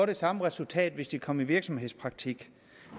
det samme resultat hvis de var kommet i virksomhedspraktik